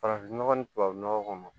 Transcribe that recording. Farafinnɔgɔ ni tubabu nɔgɔ kɔni